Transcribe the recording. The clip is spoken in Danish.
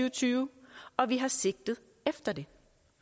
og tyve og vi har sigtet efter det